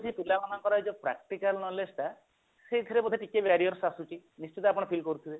ପିଲାମାନଙ୍କର ଏଇ ଯୋଉ practical knowledge ଟା ସେଇଥିରେ ବୋଧେ ଟିକେ barrier ଆସୁଛି ନିଶ୍ଚିତ ଆପଣ feel କରିପାରୁଥିବେ